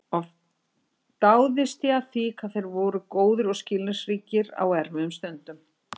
Oft dáðist ég að því hvað þeir voru góðir og skilningsríkir á erfiðum stundum.